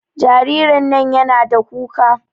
Jaririn nan yana da kuka